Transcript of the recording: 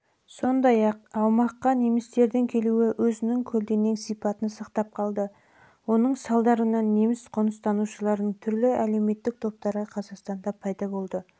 сондай-ақ аумаққа немістердің келуі өзінің көлденең сипатын сақтап қалды оның салдарынан неміс қоныстанушыларының түрлі әлеуметтік топтары қазақстанда